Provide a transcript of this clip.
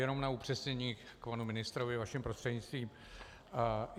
Jenom na upřesnění panu ministrovi vaším prostřednictvím.